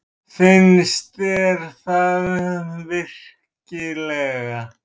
Finnst þér það virkilega?